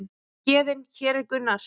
Héðinn: Hér er Gunnar.